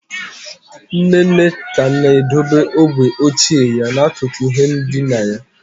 Nne nne ka na-edobe ogwe ochie ya n'akụkụ ihe ndina ya.